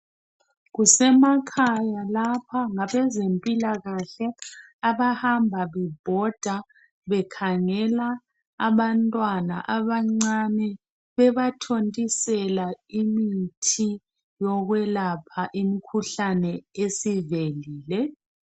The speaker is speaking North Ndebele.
Kusemakhaya lapha, ngabezempilakahle abahamba bebhoda bekhangela abantwana abancane bebathontisela imithi yokwelapha imikhuhlane esivelile.